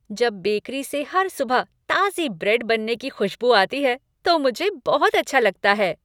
जब बेकरी से हर सुबह ताज़ी ब्रेड बनने की खुशबू आती है तो मुझे बहुत अच्छा लगता है।